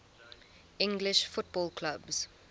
english football clubs